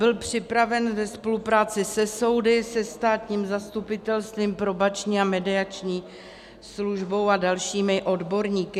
Byl připraven ve spolupráci se soudy, se státním zastupitelstvím, Probační a mediační službou a dalšími odborníky.